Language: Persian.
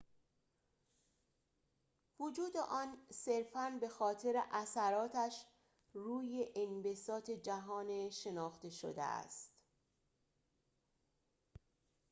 وجود آن صرفاً به‌خاطر اثراتش روی انبساط جهان شناخته شده است